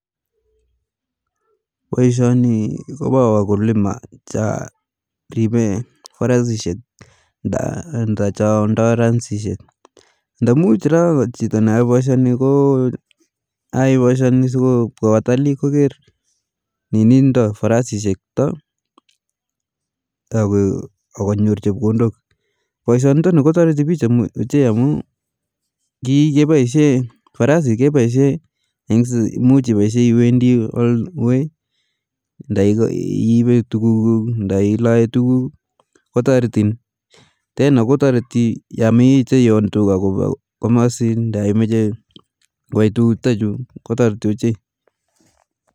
Boisioni ni kopa wakulima cha ripe farasishek nda cho ndoi farasishek nda muj raa chito ne ae boisioni ko ae boisioni so kopkaa watalii koker farasishek chuta ak nyor chepkondok ,boisioni kotoriti bik ochei amu farasi kepaishe muj ipaishe iwendi wei nda iipe tukuk nda ilae tukuk kuk tena kotoroti yo imeche iyon tuka kopa komosin nda kwai tukuku chutachu kotariti ochei